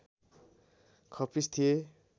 खप्पिस थिए